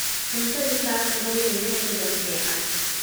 cuntadhii saka mailehen dadan fican